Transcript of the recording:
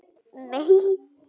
Óbeinar varnir geta verið